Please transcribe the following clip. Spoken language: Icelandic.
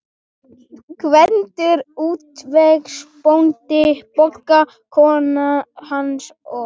Gvendur útvegsbóndi, Bogga kona hans og